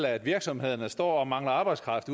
at virksomhederne står og mangler arbejdskraft